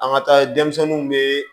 An ka taa denmisɛnninw be